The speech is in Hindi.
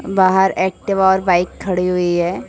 बाहर एक्टिवा और बाइक खड़ी हुई है।